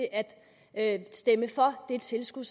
at stemme for det tilskud